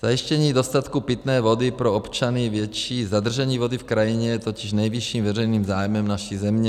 Zajištění dostatku pitné vody pro občany, větší zadržení vody v krajině je totiž nejvyšším veřejným zájmem naší země.